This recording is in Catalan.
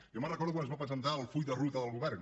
jo recordo quan es va presentar el full de ruta del govern